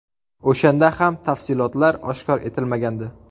O‘shanda ham tafsilotlar oshkor etilmagandi.